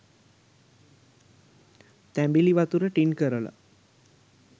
තැඹිලි වතුර ටින් කරලා